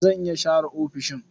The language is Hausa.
Zan iya share ofishin.